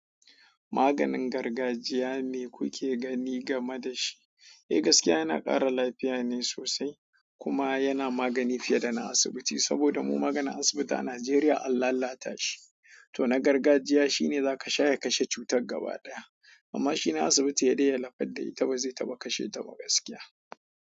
Maganin gargajiya ne kuke gani game da shi. Eh gaskiya yana ƙara lafiya ne sosai kuma yana magani fiye da na asibiti saboda mu maganin asibiti a Najeriya Allah ya lata shi. To na gargajiya shi ne za ka shaye kashe cutar gaba ɗaya amma shi ne asibiti ya daye lapadda ita bazai taba kashe ita ba gaskiya.